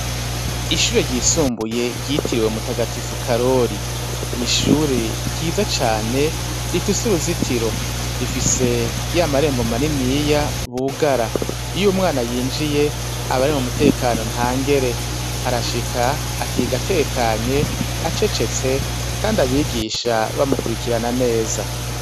Ishure ryisumbuye ryitiriwe mutagatifu karori, ni ishure ryiza cane rifise uruzitiro, rifise ya marembo maniniya bugara, iyo umwana yinjiye abari mu mutekano nta ngere arashika akigatekanye acecetse, kandi abigisha ba bamukurikirana neza.